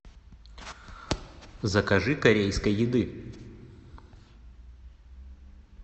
закажи корейской еды